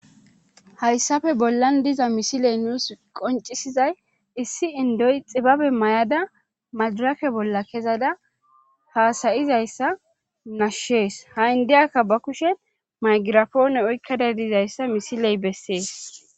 hayssafe bollan diza misiley nuus qoncisizay issi indoy xibabe mayada madrake bolla kezada haasayizayssa nashshees ha indeyakka ba kushen maygirafoone oykkada dizayssa misiley bessees